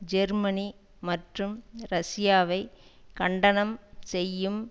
Germany மற்றும் ரஷ்யாவை கண்டனம் செய்யும்